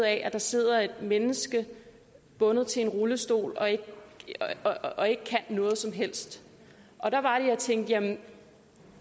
at der sidder et menneske bundet til en rullestol og ikke og ikke kan noget som helst og der var det jeg tænkte at